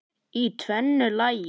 Í tvennu lagi.